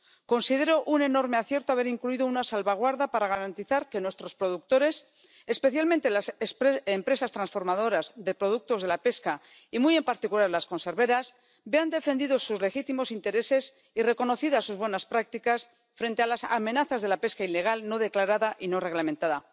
Considero un enorme acierto haber incluido una salvaguardia para garantizar que nuestros productores —especialmente las empresas transformadoras de productos de la pesca y, muy en particular, las conserveras— vean defendidos sus legítimos intereses y reconocidas sus buenas prácticas frente a las amenazas de la pesca ilegal no declarada y no reglamentada.